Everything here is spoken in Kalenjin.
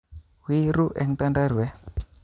Wii ru en tanda'rwet